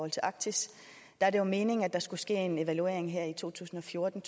i arktis er det meningen at der skulle ske en evaluering i to tusind og fjorten